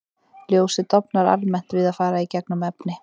Ljósið dofnar almennt við að fara í gegnum efni.